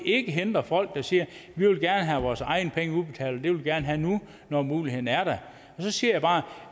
ikke hindre folk der siger vi vil gerne have vores egne penge udbetalt vil vi gerne have nu når muligheden er der så siger jeg bare